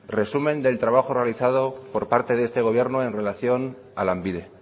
resumen del trabajo realizado por parte de este gobierno en relación a lanbide